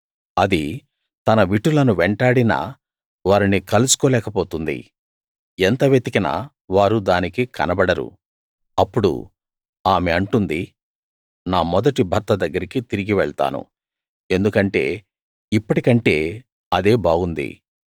అది తన విటులను వెంటాడినా వారిని కలుసుకోలేక పోతుంది ఎంత వెతికినా వారు దానికి కనబడరు అప్పుడు ఆమె అంటుంది నా మొదటి భర్త దగ్గరికి తిరిగి వెళ్తాను ఎందుకంటే ఇప్పటి కంటే అదే బాగుంది